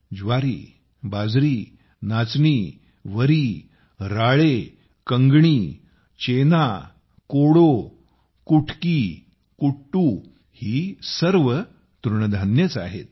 ज्वारी बाजरी नाचणी वरी राळे कंगणी चेना कोडो कुटकी कुट्टू ही सर्व तृणधान्येच आहेत